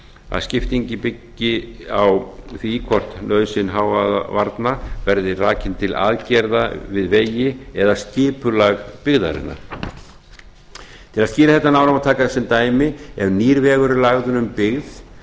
að skiptingin byggi á því hvort nauðsyn hávaðavarna verði rakin til aðgerða við vegi eða skipulag byggðarinnar til að skýra þetta nánar má taka sem dæmi ef nýr vegur er lagður um byggð